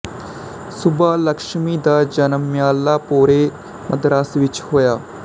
ਸੁਬਾਲਕਸ਼ਮੀ ਦਾ ਜਨਮ ਮਿਅਲਾਪੋਰੇ ਮਦਰਾਸ ਵਿੱਚ ਹੋਇਆ ਸੀ